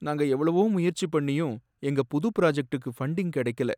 நாங்க எவ்வளவோ முயற்சி பண்ணியும் எங்க புது பிராஜக்டுக்கு ஃபண்டிங் கடைக்கல.